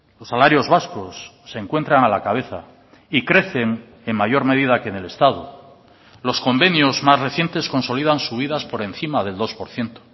los salarios vascos se encuentran a la cabeza y crecen en mayor medida que en el estado los convenios más recientes consolidan subidas por encima del dos por ciento